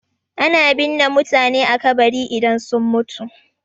Ana binne mutane a kabari idan sun mutu.